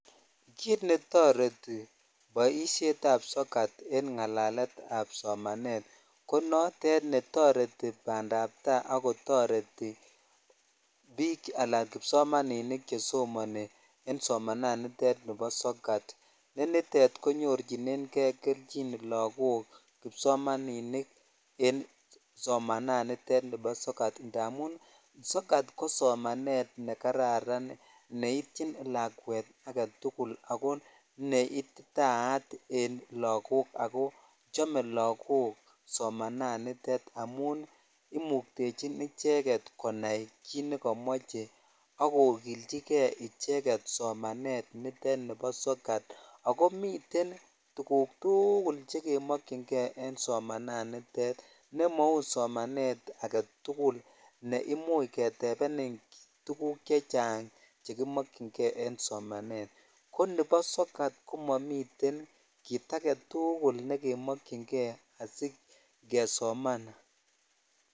Kit netoreti poishet ap soket en ngalalet ap somanet ko notet ne toreti bandaptai ak kotoreti bik ala kipsomaninik chesomoni en somanani bo sokat ne nitet konyorchinen kei kelchin lakok kipsomaninik en somanitet nibo sokat amun sokat ko somsnet ne kararan neityin lakwet agetul ako neititayat en lakok chome lakok somananitet indap imoktechin inended konai kit nemoche ak kokchikei icheget somanet nebo sokat ako miten tukuk tukul che kemokyin kei en somanitet nemau somanet agetukul ne imuch ketepenin tuguk chechang chekimkyin kei en sukul kesomanan ko nibo sokat ko momii kit agetukul nekemokyin kei asikesoman.